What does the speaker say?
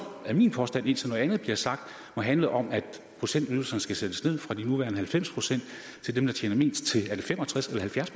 er min påstand indtil noget andet bliver sagt handle om at procentydelserne skal sættes ned fra de nuværende halvfems procent til dem der tjener mindst til er det fem og tres eller halvfjerds